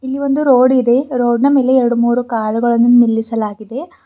ಇಲ್ಲಿ ಒಂದು ರೋಡ್ ಇದೆ ರೋಡ್ ನ್ ಮೇಲೆ ಎರ್ಡಮೂರು ಕಾರುಗಳನು ನಿಲ್ಲಿಸಲಾಗಿದೆ.